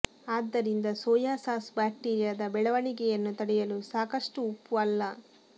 ಆದ್ದರಿಂದ soya sauce ಬ್ಯಾಕ್ಟೀರಿಯಾದ ಬೆಳವಣಿಗೆಯನ್ನು ತಡೆಯಲು ಸಾಕಷ್ಟು ಉಪ್ಪು ಅಲ್ಲ